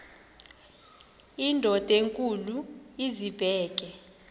indod enkulu izibeke